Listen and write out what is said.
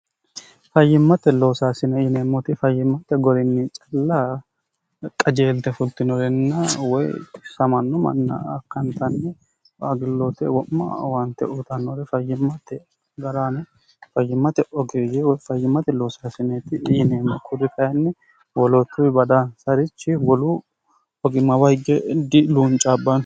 fayyimmate loosaasine yineemmoti fayyimmate gorinni callaa qajeelte fultinorenna woy xissamanno manna akkantanni aagilloote wo'ma owaante uutannore fayyimmatte ga'raane fayyimmate ogiyiwyfayyimmate loosaasineeti iyineemmo kudi kayinni woloottuwi bada sarichi woluu ogima woy diluuncaabbanno